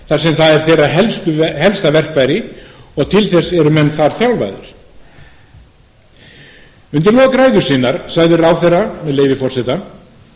þar sem það er þeirra helsta verkfæri og til þess eru menn þar þjálfaðir undir lok ræðu sinnar sagði ráðherra með leyfi forseta